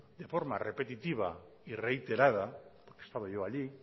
de forma repetitiva y reiterada he estado yo allí